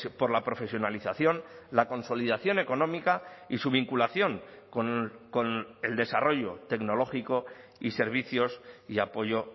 por la profesionalización la consolidación económica y su vinculación con el desarrollo tecnológico y servicios y apoyo